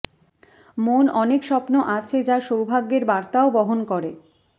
মন অনেক স্বপ্ন আছে যা সৌভাগ্যের বার্তাও বহন করে